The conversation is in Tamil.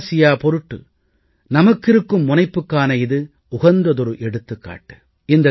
தெற்காசியா பொருட்டு நமக்கு இருக்கும் முனைப்புக்கான இது உகந்ததொரு எடுத்துக்காட்டு